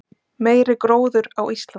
Meiri gróður á Íslandi